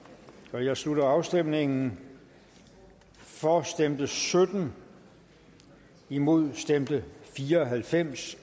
jeg slutter afstemningen for stemte sytten imod stemte fire og halvfems